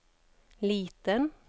liten